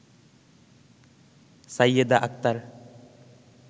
Sayeda Akter